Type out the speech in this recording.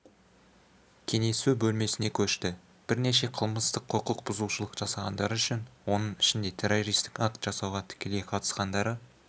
кеңесу бөлмесіне көшті бірнеше қылмыстық құқықбұзушылық жасағандары үшін оның ішінде террористік акт жасауға тікелей қатысқандары